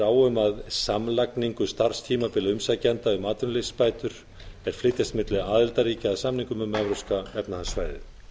á um samlagningu starfstímabila umsækjenda um atvinnuleysisbætur er flytjast milli aðildarríkja að samningnum um evrópska efnahagssvæðið